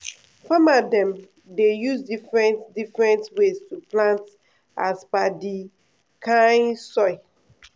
farmer dem dey use different different ways to plant as per di kain soil.